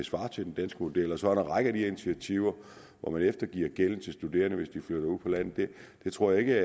svarer til den danske model og så er der den række af initiativer hvor man eftergiver gælden til de studerende hvis de flytter ud på landet men jeg tror ikke